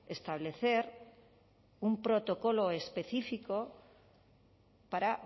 establecer un protocolo específico para